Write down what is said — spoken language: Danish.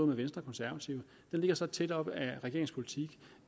med venstre og konservative ligger så tæt op af regeringens politik